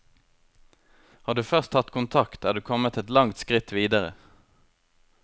Har du først tatt kontakt, er du kommet et langt skritt videre.